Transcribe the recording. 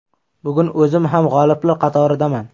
Bugun o‘zim ham g‘oliblar qatoridaman.